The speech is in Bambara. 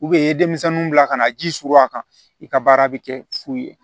i ye denmisɛnninw bila ka na ji surun a kan i ka baara bɛ kɛ fu ye